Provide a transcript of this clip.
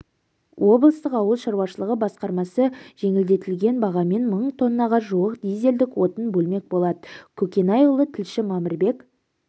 облыстық ауыл шаруашылығы басқармасы жеңілдетілген бағамен мың тоннаға жуық дизельдік отын бөлмек болат көкенайұлы тілші мамырбек